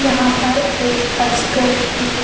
यहाँ पर एक अजगर की--